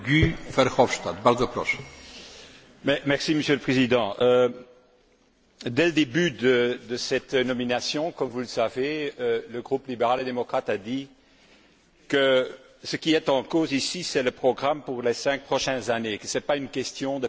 Monsieur le Président, dès le début de cette procédure de nomination, comme vous le savez, le groupe libéral et démocrate a dit que ce qui est en cause ici, c'est le programme pour les cinq prochaines années, que ce n'est pas une question de personnes ou de personnalités. C'est cela qui compte